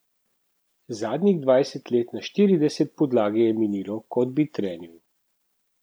Zadnjih dvajset let na štirideset podlage je minilo, kot bi trenil.